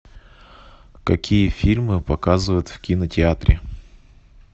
какие фильмы показывают в кинотеатре